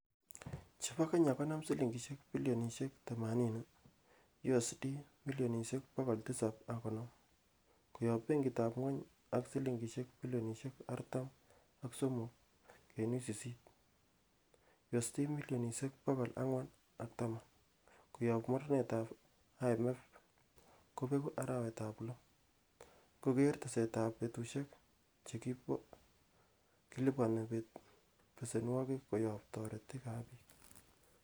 Chobot Kenya konam silingisiek bilionisiek thamanini,(USD milionisiek bogol tisab ak konoom) koyob benkitab ngwony ak silingisiek bilionisiek artam ak somok kenuch sisit(USD Milionisiek bogol angwan ak taman) koyob mornetab IMF kobegu arawetab loo, ingogere tesetab betusiek che kiliponen besenwogik koyob toretik ab bii.